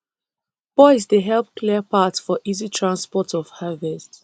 boys dey help clear path for easy transport of harvest